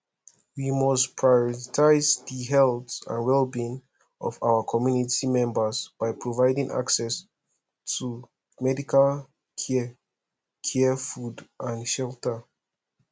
we must prioritize di health and wellbeing of our community members by providing access to medical care care food and shelter